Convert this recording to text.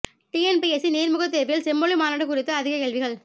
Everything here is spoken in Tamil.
டிஎன்பிஎஸ்சி நேர்முகத் தேர்வில் செம்மொழி மாநாடு குறித்து அதிக கேள்விகள்